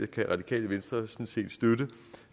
kan radikale venstre sådan set støtte